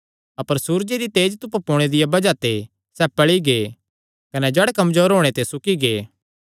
अपर सूरज निकल़णे दिया बज़ाह ते सैह़ पल़ी गै कने जड़ नीं पकड़णे ते सुकी गै